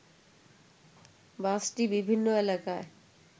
বাসটি বিভিন্ন এলাকায়